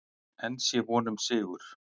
Enn sé von um sigur.